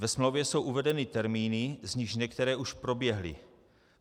Ve smlouvě jsou uvedeny termíny, z nichž některé už proběhly.